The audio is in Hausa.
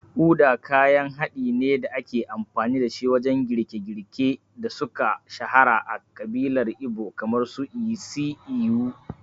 Uda kayan haɗin ne da ake amfani dashi wajen girke-girken da suka shahara a ƙabilar Igbo kamar su isi ewu.